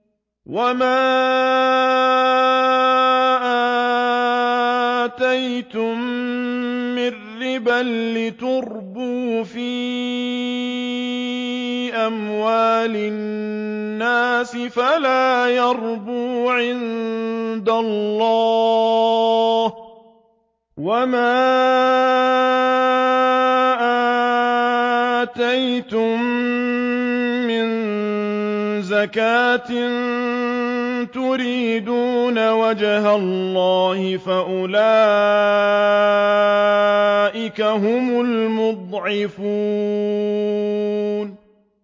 وَمَا آتَيْتُم مِّن رِّبًا لِّيَرْبُوَ فِي أَمْوَالِ النَّاسِ فَلَا يَرْبُو عِندَ اللَّهِ ۖ وَمَا آتَيْتُم مِّن زَكَاةٍ تُرِيدُونَ وَجْهَ اللَّهِ فَأُولَٰئِكَ هُمُ الْمُضْعِفُونَ